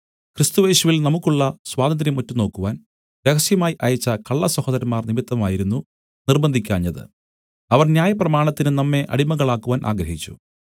ക്രിസ്തുയേശുവിൽ നമുക്കുള്ള സ്വാതന്ത്ര്യം ഒറ്റുനോക്കുവാൻ രഹസ്യമായി അയച്ച കള്ള സഹോദരന്മാർ നിമിത്തമായിരുന്നു നിർബ്ബന്ധിക്കാഞ്ഞത് അവർ ന്യായപ്രമാണത്തിന് നമ്മെ അടിമകളാക്കുവാൻ ആഗ്രഹിച്ചു